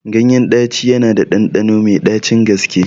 Ganyen ɗaci yana da ɗanɗano mai ɗacin gaske